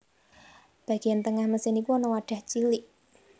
Bagian tengah mesin iku ana wadah cilik